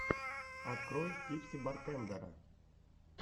открой типси бартендера